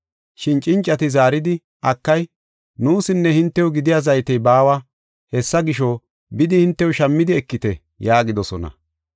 “Shin cincati zaaridi, ‘Akay, nuusinne hintew gidiya zaytey baawa. Hessa gisho, bidi hintew shammidi ekite’ yaagidosona.